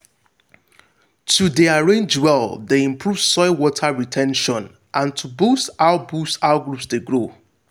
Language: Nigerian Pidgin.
to dey arrange well dey improve soil water re ten tion and to boosts how boosts how groups dey grow.